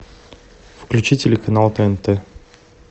включи телеканал тнт